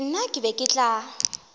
nna ke be ke tla